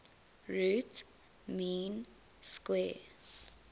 root mean square